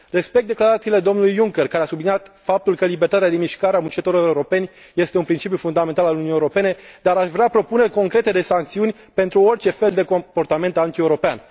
Respect declarațiile domnului Juncker, care a subliniat faptul că libertatea de mișcare a muncitorilor europeni este un principiu fundamental al Uniunii Europene, dar aș vrea propuneri concrete de sancțiuni pentru orice fel de comportament antieuropean.